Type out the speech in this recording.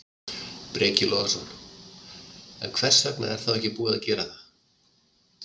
Breki Logason: En hvers vegna er þá ekki búið að gera það?